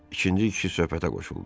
İkinci kişi söhbətə qoşuldu.